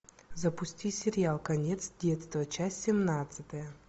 запусти сериал конец детства часть семнадцатая